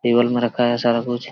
Table में रखा है सारा कुछ।